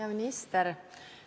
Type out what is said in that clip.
Hea minister!